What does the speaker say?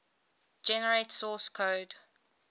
generate source code